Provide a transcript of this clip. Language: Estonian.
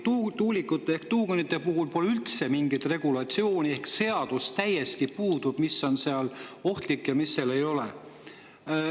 Tuulikute ehk tuugenite puhul pole üldse mingit regulatsiooni ehk täiesti puudub seadus selle kohta, mis on seal ohtlik ja mis ei ole.